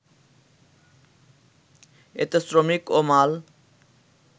এতে শ্রমিক ও মাল